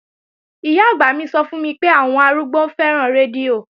Ìyá-àgbà mi sọ fún mi pé àwọn àwọn arúgbó fẹ́ràn rédíò